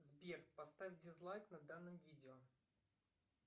сбер поставь дизлайк на данном видео